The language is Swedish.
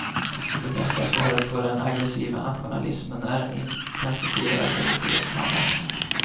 Det bästa svaret på den aggressiva nationalismen är en intensifierad europeisk samverkan.